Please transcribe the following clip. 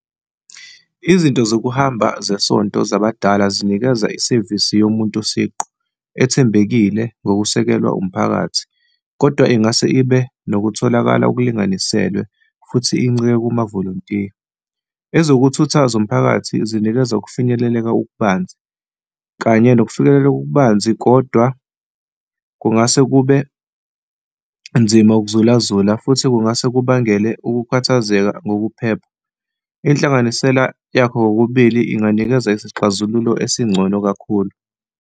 Izinto zokuhamba zesonto zabadala zinikeza isevisi yomuntu siqu ethembekile ngokusekelwa umphakathi, kodwa ingase ibe nokutholakala okulinganiselwe, futhi inceke kumavolontiya. Ezokuthutha zomphakathi zinikeza ukufinyeleleka okubanzi, kanye nokufinyelelela okubanzi. kodwa kungase kube nzima ukuzulazula futhi kungase kubangele ukukhathazeka ngokuphepha. Inhlanganisela yakho kokubili inganikeza isixazululo esingcono kakhulu.